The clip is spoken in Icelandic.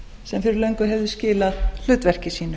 sem fyrir löngu hefði skilað hlutverki sínu